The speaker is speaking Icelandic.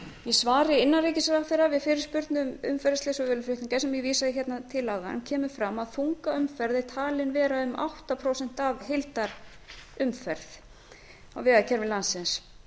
í svari innanríkisráðherra við fyrirspurn um umferðarslys og vöruflutninga sem ég vísaði hérna til áðan kemur fram að þungaumferð er talin vera um átta prósent af heildarumferð á vegakerfi landsins